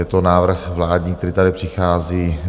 Je to návrh vládní, který tady přichází.